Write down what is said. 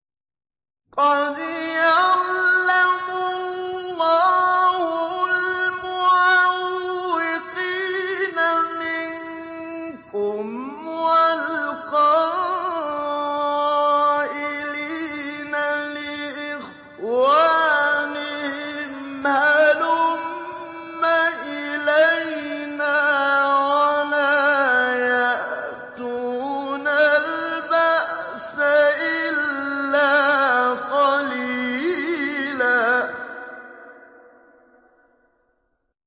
۞ قَدْ يَعْلَمُ اللَّهُ الْمُعَوِّقِينَ مِنكُمْ وَالْقَائِلِينَ لِإِخْوَانِهِمْ هَلُمَّ إِلَيْنَا ۖ وَلَا يَأْتُونَ الْبَأْسَ إِلَّا قَلِيلًا